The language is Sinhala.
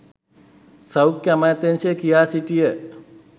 සෞඛ්‍ය අමාත්‍යාංශය කියා සිටිය